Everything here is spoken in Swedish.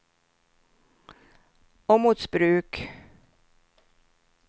Åmotsbruk